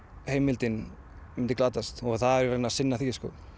heimildin myndi glatast og það yrði að sinna því